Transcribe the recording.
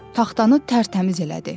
Taxtanı tərtəmiz elədi.